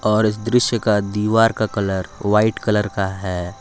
और इस दृश्य का दीवार का कलर वाइट कलर का है।